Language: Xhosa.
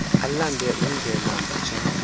alande undlela mfutshane